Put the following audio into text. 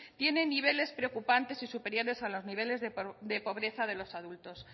tienen niveles preocupantes y superiores a los niveles de pobreza de los adultos